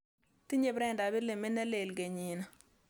Tinye Brenda pilimit nelel kenyinii